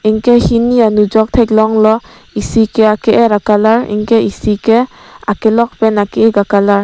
anke hini anujok theklonglo isi ke ake er a colour anke isi ke akelok pen ake ik a colour .